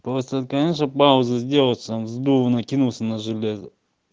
просто конечно пауза сделается он с дура накинулся на железо